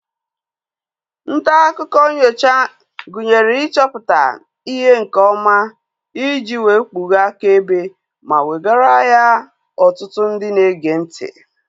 Ntaakụkọ nnyocha gụnyere ịchọpụta ihe nke ọma iji wee kpughee akaebe ma wegara ya ọtụtụ ndị na-ege ntị